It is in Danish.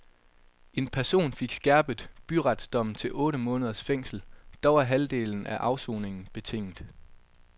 En person fik skærpet byretsdommen til otte månders fængsel, dog er halvdelen af afsoningen betinget.